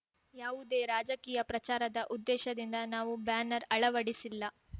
ಯಾವುದೇ ರಾಜಕೀಯ ಪ್ರಚಾರದ ಉದ್ದೇಶದಿಂದ ನಾವು ಬ್ಯಾನರ್ ಅಳವಡಿಸಿಲ್ಲ